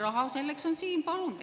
Raha selleks on siin, palun!